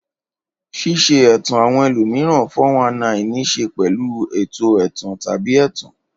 Ṣíṣe ẹ̀tàn àwọn ẹlòmíràn (419) ní í ṣe pẹ̀lú àwọn ètò ẹ̀tàn tàbí ẹ̀tàn.